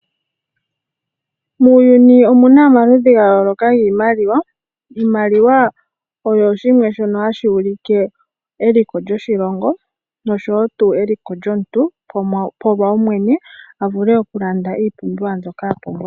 Muuyuni omuna omaludhi ga yooloka giimaliwa. Iimaliwa oyo shimwe shono hashi ulike lyoshilongo nosho eliko lyomuntu lyopawumwene avule okulanda iipumbiwa mbyoka apumbwa.